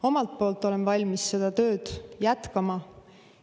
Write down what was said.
Omalt poolt olen valmis seda tööd jätkama.